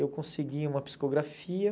Eu consegui uma psicografia.